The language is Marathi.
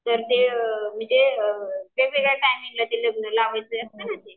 तर मग ते वेगवेगळ्या टाईमिंग ला लावायचं असतं ना ते.